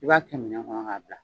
I b'a kɛ minɛn kɔnɔ ka bila